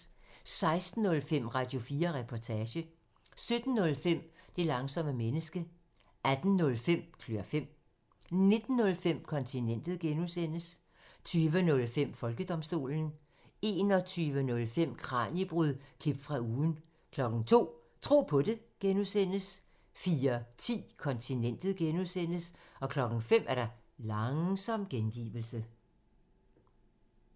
16:05: Radio4 Reportage 17:05: Det langsomme menneske 18:05: Klør fem 19:05: Kontinentet (G) 20:05: Folkedomstolen 21:05: Kraniebrud – klip fra ugen 02:00: Tro på det (G) 04:10: Kontinentet (G) 05:00: Langsom gengivelse